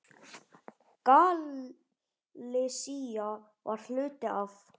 Galisía var hluti af